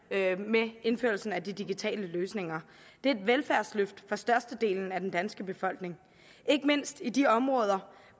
med indførelsen af de digitale løsninger det er et velfærdsløft for størstedelen af den danske befolkning ikke mindst i de områder